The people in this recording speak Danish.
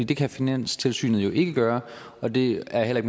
det kan finanstilsynet jo ikke gøre og det er heller